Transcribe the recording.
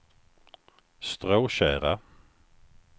Stråtjära